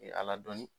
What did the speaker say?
Ala dɔnni